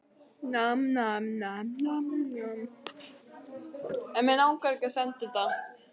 Gamla árið kvatt á hlaupum